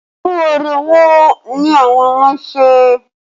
Irú eré wo ni àwọn ọmọ ń ṣe?